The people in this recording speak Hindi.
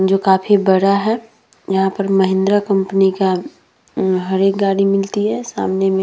जो काफी बड़ा है। यहाँ पर महिंद्रा कंपनी का ऊं हर एक गाड़ी मिलती है। सामने में --